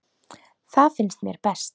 Það finnst mér best.